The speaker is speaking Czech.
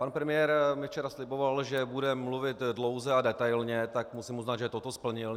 Pan premiér mi včera sliboval, že bude mluvit dlouze a detailně, tak musím uznat, že toto splnil.